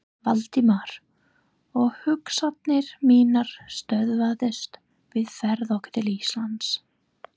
Valdimar, og hugsanir mínar stöðvuðust við ferð okkar til Íslands.